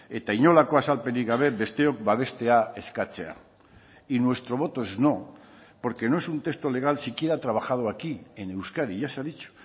eta inolako azalpenik gabe besteok babestea eskatzea y nuestro voto es no porque no es un texto legal siquiera trabajado aquí en euskadi ya se ha dicho